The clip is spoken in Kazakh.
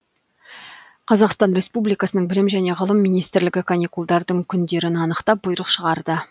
қазақстан республикасының білім және ғылым министрлігі каникулдардың күндерін анықтап бұйрық шығарды